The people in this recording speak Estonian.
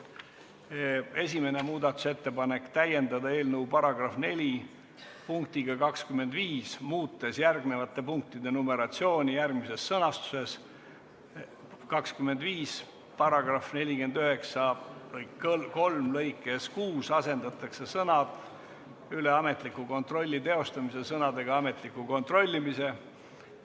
Esimene muudatusettepanek – täiendada eelnõu § 4 punktiga 25, muutes järgnevate punktide numeratsiooni, järgmises sõnastuses: "25) paragrahvi 493 lõikes 6 asendatakse sõnad "üle ametliku kontrolli teostamise" sõnadega "ametliku kontrollimise";".